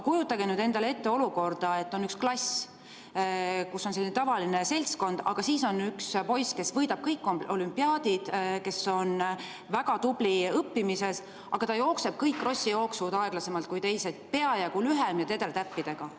Kujutage endale nüüd ette olukorda, et on üks klass, kus on selline tavaline seltskond, aga siis on seal üks poiss, kes võidab kõik olümpiaadid, kes on väga tubli õppimises, aga ta jookseb kõik krossijooksud aeglasemalt kui teised, on teistest peajagu lühem ja tedretähnidega.